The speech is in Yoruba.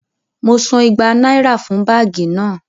Mo san igba náírà fún báàgì náà